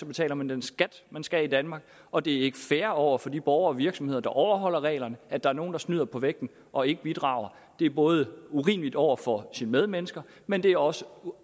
betaler man den skat man skal i danmark og det er ikke fair over for de borgere og virksomheder der overholder reglerne at der er nogen der snyder på vægten og ikke bidrager det er både urimeligt over for ens medmennesker men det er også